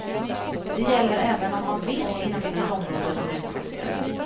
Det gäller även om man vet inom vilket område de är utplacerade.